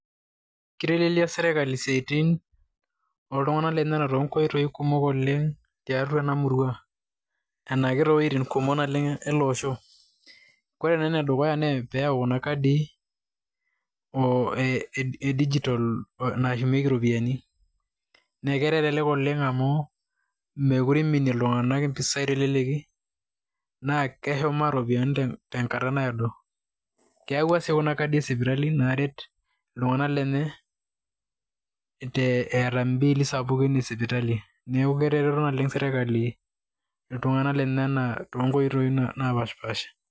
Kitelelia sirkali siaitin oltung'anak lenyenak tonkoiti kumok oleng' tiatua ena murrua anake to woitin kumok naleng' ele osho. Kore naa ene dukuya naa pee eyau kuna kadii o ee dijital nashumieki ropiani nee kelelek oleng' amu mekure iminie iltung'anak mpisai te leleki naa keshumaa ropiani tenkata naado. Keyauwa sii kuna kadii e sipitali naaret iltung'anak lenye eeta imbiili sapukin e sipitali. Neeku ketareto naleng' sirkali iltung'anak lenyenak to nkoitoi napaashipaasha.